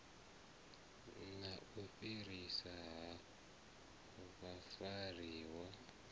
na u fhiriswa ha vhafariwa